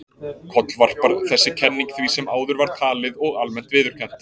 Kollvarpar þessi kenning því sem áður var talið og almennt viðurkennt.